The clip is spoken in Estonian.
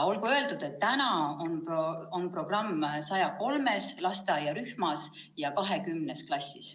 Olgu öeldud, et praegu osaleb programmis 103 lasteaiarühma ja 20 klassi.